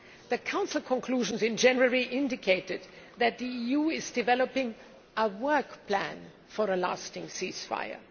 The Council conclusions in January indicated that the EU is developing a work plan' for a lasting ceasefire.